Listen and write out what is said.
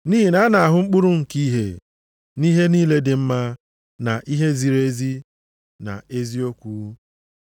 (nʼihi na a na-ahụ mkpụrụ nke ìhè nʼihe niile dị mma, na ihe ziri ezi, na eziokwu).